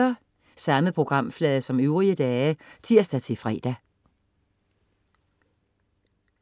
Samme programflade som øvrige dage (tirs-fre)